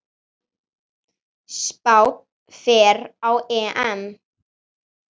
Spánn fer á EM.